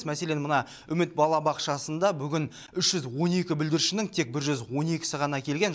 мәселен мына үміт балабақшасында бүгін үш жүз он екі бүлдіршіннің тек бір жүз он екісі ғана келген